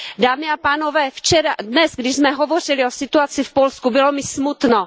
Dámy a pánové, dnes, když jsme hovořili o situaci v Polsku, bylo mi smutno.